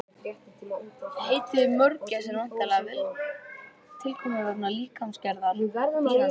Heitið mörgæs er væntanlega tilkomið vegna líkamsgerðar dýranna.